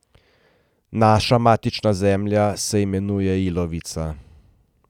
Naša matična zemlja se imenuje ilovica.